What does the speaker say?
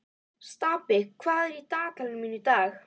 Stapi, hvað er í dagatalinu mínu í dag?